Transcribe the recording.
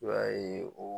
I b'a ye o